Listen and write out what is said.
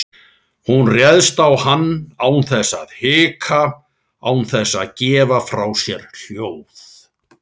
Hún réðst á hann án þess að hika, án þess að gefa frá sér hljóð.